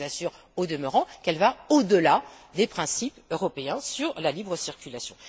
Et je vous assure, au demeurant, qu'elle va au delà des principes européens sur la libre circulation.